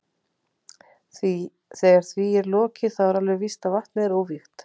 Þegar því er lokið þá er alveg víst að vatnið er óvígt.